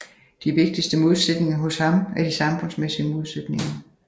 De vigtigste modsætninger hos ham er de samfundsmæssige modsætninger